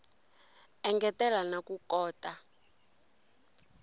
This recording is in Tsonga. engetela na ku kota ku